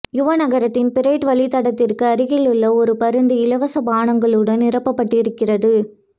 யுவ நகரத்தின் பரேட் வழித்தடத்திற்கு அருகிலுள்ள ஒரு பருந்து இலவச பானங்களுடன் நிரப்பப்பட்டிருக்கிறது